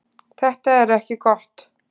Þetta er ekki gott.